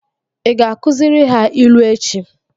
Ị ga-akụziri ha ilu echi?